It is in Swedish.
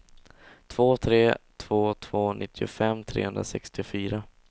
två tre två två nittiofem trehundrasextiofyra